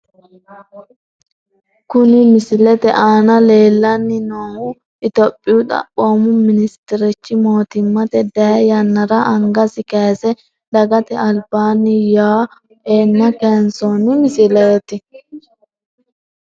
Kuni misilete aana lellanni noohu topiyu xaphoomu ministerichi mootimmate dayii yannara angasi kayiise dagate albaanni yawo eanna kayiinsoonni misileeti .